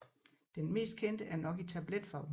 Den mest kendte er nok i tabletform